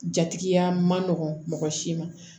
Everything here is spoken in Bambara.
Jatigiya ma nɔgɔn mɔgɔ si ma